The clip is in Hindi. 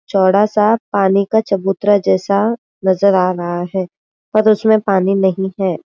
चौड़ा सा पानी का चबूतरा जैसा नजर आ रहा है पर उसमे पानी नहीं है।